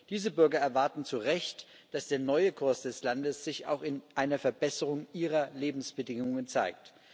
Diese Bürger erwarten zu Recht, dass der neue Kurs des Landes sich auch in einer Verbesserung ihrer Lebensbedingungen zeigt.